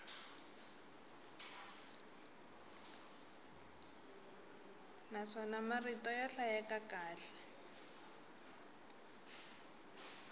naswona marito ya hlayeka kahle